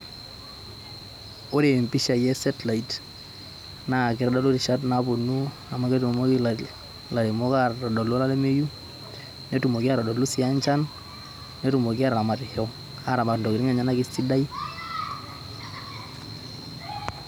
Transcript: Ore mpishai e satellite na kitadolu rishat naponu amu ketumoki laremok atadolu olameyu netumoki atodolu sii enchan netumoki ataramatisho aramat ntokitin enye esidai.